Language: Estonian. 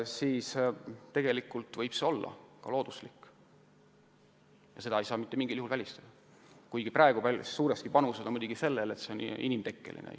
Nii et tegelikult võib see olla ka looduslik ja seda ei saa mingil juhul välistada, kuigi praegu on muidugi panused suuresti sellel, et kliimamuutused on inimtekkelised.